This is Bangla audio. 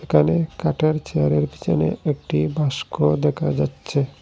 এখানে কাঠের চেয়ারের পিছনে একটি ভাস্কর দেখা যাচ্ছে।